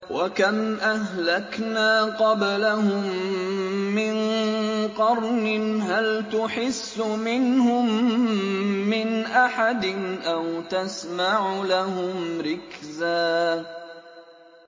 وَكَمْ أَهْلَكْنَا قَبْلَهُم مِّن قَرْنٍ هَلْ تُحِسُّ مِنْهُم مِّنْ أَحَدٍ أَوْ تَسْمَعُ لَهُمْ رِكْزًا